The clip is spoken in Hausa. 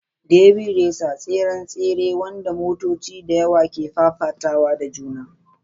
Derby racer: tseren tsere wanda motoci da yawa ke fafatawa da juna.